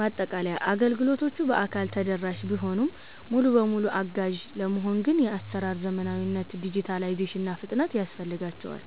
ማጠቃለያ፦ አገልግሎቶቹ በአካል ተደራሽ ቢሆኑም፣ ሙሉ በሙሉ አጋዥ ለመሆን ግን የአሰራር ዘመናዊነት (ዲጂታላይዜሽን) እና ፍጥነት ያስፈልጋቸዋል።